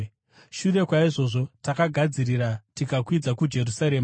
Shure kwaizvozvo takagadzirira tikakwidza kuJerusarema.